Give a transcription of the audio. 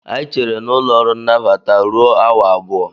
Anyị chere n'ụlọ ọrụ nnabata ruo awa abụọ